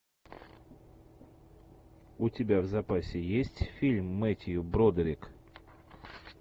у тебя в запасе есть фильм мэттью бродерик